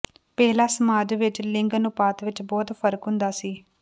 ਪਹਿਲਾਂ ਸਮਾਜ ਵਿਚ ਲਿੰਗ ਅਨੁਪਾਤ ਵਿਚ ਬਹੁਤ ਫ਼ਰਕ ਹੁੰਦਾ ਸੀ